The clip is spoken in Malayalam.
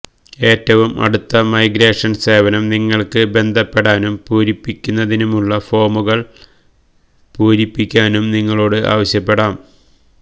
ഏറ്റവും അടുത്ത മൈഗ്രേഷൻ സേവനം നിങ്ങൾക്ക് ബന്ധപ്പെടാനും പൂരിപ്പിക്കുന്നതിനുള്ള ഫോമുകൾ പൂരിപ്പിക്കാനും നിങ്ങളോട് ആവശ്യപ്പെടാം